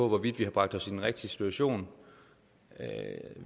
hvorvidt vi har bragt os i den rigtige situation